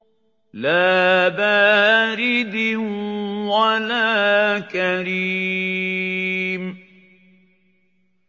لَّا بَارِدٍ وَلَا كَرِيمٍ